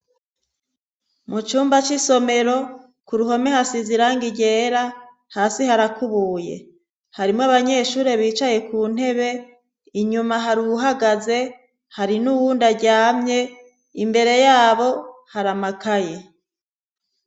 Mucumba c'isomero k'uruhome hasiz'irangi ryera, hasi harakubuye. Harimwo abanyeshure bicaye kuntebe inyuma, har'uwuhagaze, hari n'uwundi aryamye imbere yabo har'amakaye.